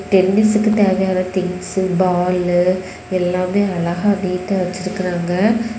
டென்னிஸ்க்கு தேவையான things ball எல்லாமே அழகா நீட்டா வச்சிருக்காங்க.